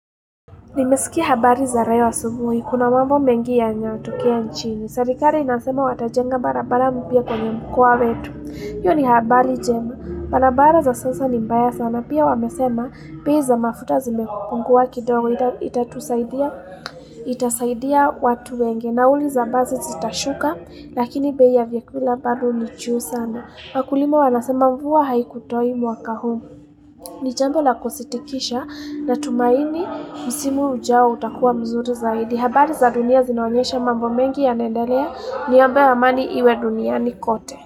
Nimesikia habari za royo asubuhi. Kuna mambo mengi yanyatokea nchini. Serikari inasema watajenga barabara mpya kwenye mkoa wetu. Hiyo ni habari jema. Balabara za sasa ni mbaya sana. Pia wamesema pei za mafuta zimepungua kidogo ita itatusaidia itasaidia watu wengi. Nauli za bazi zitashuka lakini bei ya vyakula bado ni chuu sana. Wakulima wanasema mvua haikutoi mwaka huu. Ni jambo la kusitikisha na tumaini msimu ujao utakuwa mzuri zaidi ya habari za dunia zinaonyesha mambo mengi yanaenderea niombee amani iwe duniani kote.